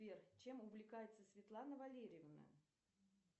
сбер чем увлекается светлана валерьевна